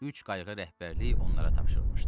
Üç qayıq rəhbərliyi onlara tapşırılmışdı.